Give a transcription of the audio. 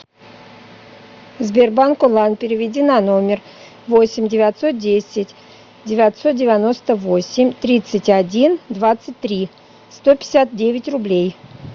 сбербанк онлайн переведи на номер восемь девятьсот десять девятьсот девяносто восемь тридцать один двадцать три сто пятьдесят девять рублей